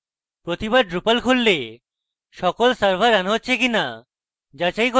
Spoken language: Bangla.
প্রতিবার drupal খুললে সকল servers running হচ্ছে কিনা যাচাই করুন